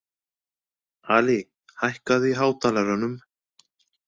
Ali, hækkaðu í hátalaranum.